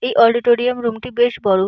এই auditorium room টি বেশ বড়।